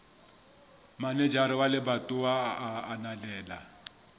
manejara wa lebatowa a ananela